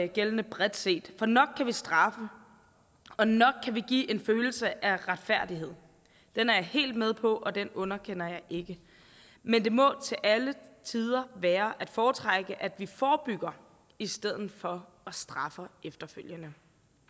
gældende bredt set for nok kan vi straffe og nok kan vi give en følelse af retfærdighed det er jeg helt med på og det underkender jeg ikke men det må til alle tider være at foretrække at vi forebygger i stedet for at straffe efterfølgende